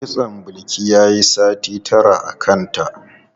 Kitson Bilki yayi sati tara a kanta.